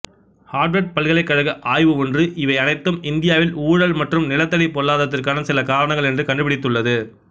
Harvard பல்கலைக்கழக ஆய்வு ஒன்று இவை அனைத்தும் இந்தியாவில் ஊழல் மற்றும் நிலத்தடி பொருளாதாரத்திற்கான சில காரணங்கள் என்று கண்டுபிடித்துள்ளது